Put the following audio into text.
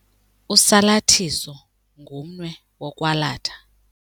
Usalathiso ngumnwe wokwalatha.